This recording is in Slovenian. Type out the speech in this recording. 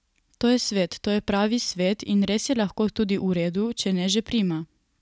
To je svet, to je pravi svet, in res je lahko tudi v redu, če ne že prima.